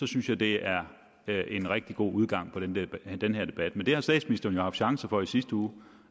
synes jeg det er en rigtig god udgang på den den her debat men det havde statsministeren jo chancen for i sidste uge